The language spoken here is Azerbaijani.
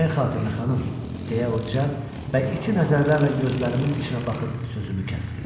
Nəyin xatirinə, xanım, deyə o cad və iti nəzərlərlə gözlərimin içinə baxıb sözümü kəsdi.